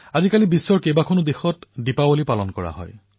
আজিকালি বিশ্বৰ অনেক দেশত দিপাৱলী পালন কৰা হয়